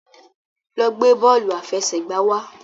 lọ gbé bóòlù afẹsẹgba wá!